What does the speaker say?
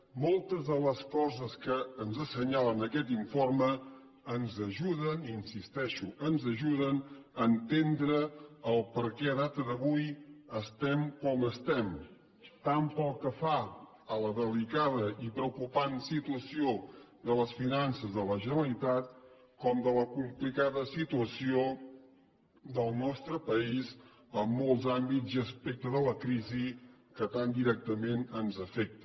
moltes de les coses que ens assenyalen en aquest informe ens ajuden hi insisteixo ens ajuden a entendre el perquè en data d’avui estem com estem tant pel que fa a la delicada i preocupant situació de les finances de la generalitat com de la complicada situació del nostre país en molts àmbits i aspectes de la crisi que tan directament ens afecta